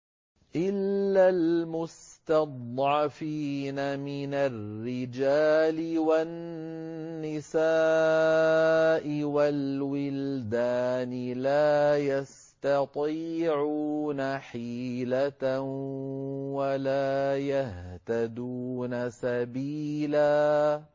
إِلَّا الْمُسْتَضْعَفِينَ مِنَ الرِّجَالِ وَالنِّسَاءِ وَالْوِلْدَانِ لَا يَسْتَطِيعُونَ حِيلَةً وَلَا يَهْتَدُونَ سَبِيلًا